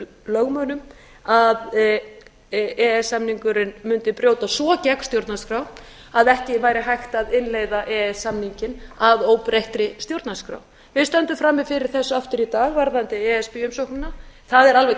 lögmönnum að e e s samningurinn mundi brjóta svo gegn stjórnarskrá að ekki væri hægt að innleiða e e s samninginn að óbreyttri stjórnarskrá við stöndum frammi fyrir þessu aftur í dag varðandi e s b umsóknina það er